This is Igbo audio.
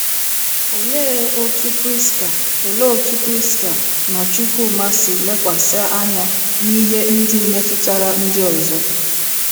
Olee otú Priska Olee otú Priska na Chukwuma si ‘ lekwasị anya ’ n’ihe ndị metụtara ndị ọzọ?